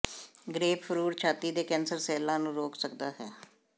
grapefruit ਛਾਤੀ ਦੇ cancer ਸੈੱਲਾਂ ਨੂੰ ਰੋਕ ਸਕਦਾ ਹੈ